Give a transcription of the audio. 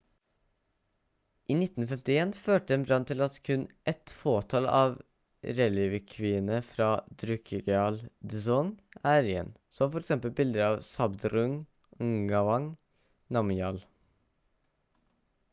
i 1951 førte en brann til at kun et fåtall av relikviene fra drukgyal dzong er igjen som f.eks bildet av zhabdrung ngawang namgyal